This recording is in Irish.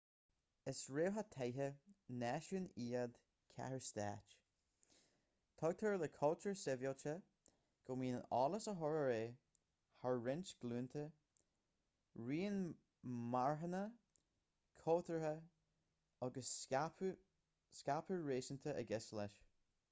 is réamhtheachtaithe náisiún iad cathairstáit tuigtear le cultúr sibhialtachta go mbíonn eolas á chur ar aghaidh thar roinnt glúnta rian marthanach cultúrtha agus scaipeadh réasúnta i gceist leis